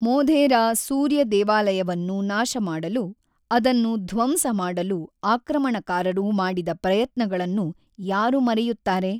ಮೊಧೇರಾ ಸೂರ್ಯ ದೇವಾಲಯವನ್ನು ನಾಶಮಾಡಲು, ಅದನ್ನು ಧ್ವಂಸ ಮಾಡಲು ಆಕ್ರಮಣಕಾರರು ಮಾಡಿದ ಪ್ರಯತ್ನಗಳನ್ನು ಯಾರು ಮರೆಯುತ್ತಾರೆ?